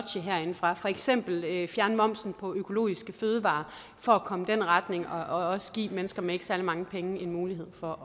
herindefra for eksempel fjerne momsen på økologiske fødevarer for at komme i den retning og også give mennesker med ikke særlig mange penge en mulighed for